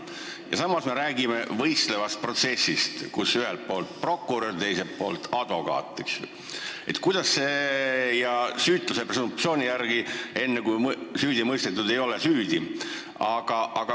Ja selle juures me räägime võistlevast protsessist, kus ühel pool on prokurör ja teisel pool advokaat, ja et süütuse presumptsiooni järgi on nii, et enne, kui kedagi süüdi ei ole mõistetud, siis ta süüdi ei ole.